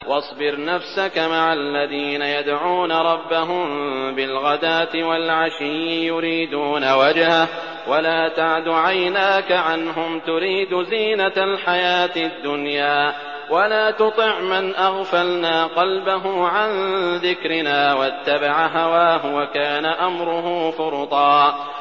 وَاصْبِرْ نَفْسَكَ مَعَ الَّذِينَ يَدْعُونَ رَبَّهُم بِالْغَدَاةِ وَالْعَشِيِّ يُرِيدُونَ وَجْهَهُ ۖ وَلَا تَعْدُ عَيْنَاكَ عَنْهُمْ تُرِيدُ زِينَةَ الْحَيَاةِ الدُّنْيَا ۖ وَلَا تُطِعْ مَنْ أَغْفَلْنَا قَلْبَهُ عَن ذِكْرِنَا وَاتَّبَعَ هَوَاهُ وَكَانَ أَمْرُهُ فُرُطًا